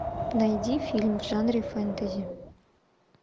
найди фильм в жанре фэнтези